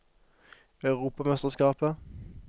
europamesterskapet